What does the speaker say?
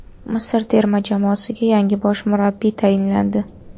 Misr terma jamoasiga yangi bosh murabbiy tayinlandi.